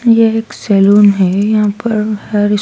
यह एक सैलून है यहां पर हर--